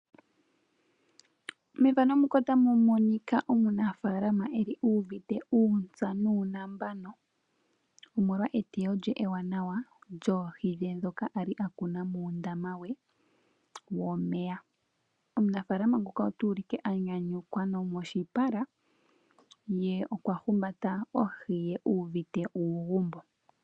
Omunafalama okuli uvite uutsa nuunambano omolwa eteyo lye eewanawa eewanawa lyoohi dhe dho ali akuna muundama we womeya. Omunafalama nguka otu ulike a nyanyukwa nomoshipala ye okwa humbata ohi ye uvite uugumbo.